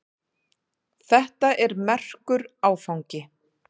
Þetta er merkur áfangi.